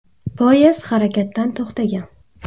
Poyezd harakatdan to‘xtagan.